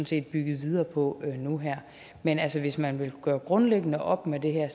set bygget videre på nu her men altså hvis man vil gøre grundlæggende op med det her